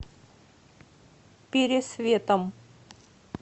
пересветом